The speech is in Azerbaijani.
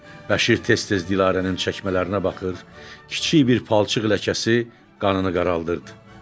Bəşir tez-tez Dilarənin çəkmələrinə baxır, kiçik bir palçıq ləkəsi qanını qaraldırdı.